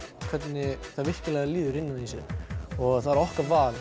hvernig því virkilega líður innan í sér og það er okkar val